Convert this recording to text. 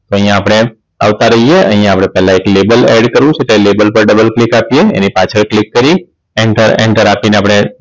તો અહીંયા આપણે આવતા રહીએ અહીંયા આપણે પેહલા એક label add કરવું છે કે label પર Double click આપીએ એની પાછળ click કરી Enter આપીને આપણે